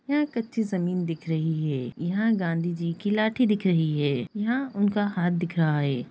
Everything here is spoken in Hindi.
यहां कच्ची जमीन दिख रही है यहां गांधीजी की लाठी दिख रही है यहां उनका हाथ दिख रहा है।